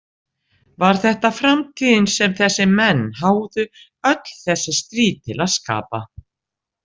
Var þetta framtíðin sem þessir menn háðu öll þessi stríð til að skapa?